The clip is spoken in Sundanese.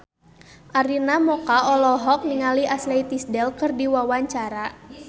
Arina Mocca olohok ningali Ashley Tisdale keur diwawancara